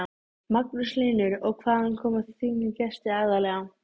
Magnús Hlynur: Og hvaðan koma þínir gestir aðallega?